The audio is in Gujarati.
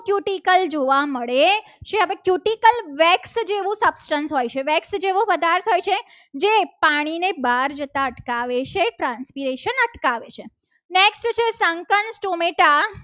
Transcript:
Cutical જોવા મળે છે. હવે cutical wax જેવું સત્સંગ હોય છે. wax જેવો પદાર્થ હોય છે. જે પાણીને બહાર જતાં અટકાવે છે. oxidation અટકાવે છે. સંકલ્પ ટોમેચા